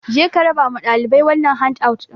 Je ka raba ma ɗalibai wannan han out ɗin!